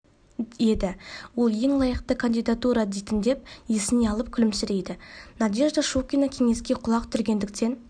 еді ол ең лайықты кандидатура дейтін деп есіне алып күлімсірейді надежда щукина кеңеске құлақ түргендіктен